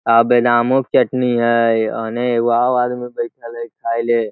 आ बे न आमो के चटनी हैय आने व खाएले --